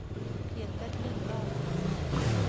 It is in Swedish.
Peter Lindahl